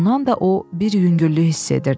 Bundan da o bir yüngüllük hiss edirdi.